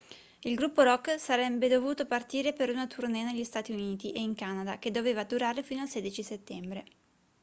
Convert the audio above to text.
il gruppo rock sarenne dovuto partire per una tournée negli stati uniti e in canada che doveva durare fino al 16 settembre